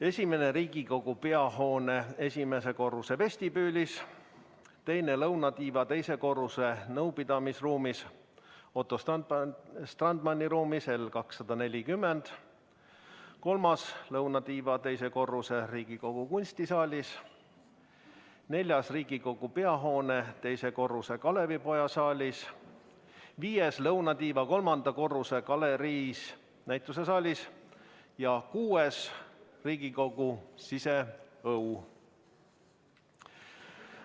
Esimene asub Riigikogu peahoone esimese korruse vestibüülis, teine lõunatiiva teise korruse nõupidamisruumis L240 , kolmas lõunatiiva teisel korrusel Riigikogu kunstisaalis, neljas Riigikogu peahoone teisel korrusel Kalevipoja saalis, viies lõunatiiva kolmanda korruse galeriis ehk näitusesaalis ja kuues Riigikogu siseõues.